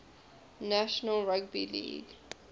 national rugby league